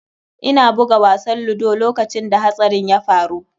Ina buga wasan ludo lokacin da hatsarin ya faru.